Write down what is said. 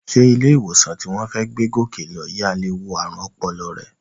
Sé ilé-ìwòsàn tí wọ́n fẹ́ gbé Gòkè lọ yìí á lè wo ààrùn ọpọlọ rẹ?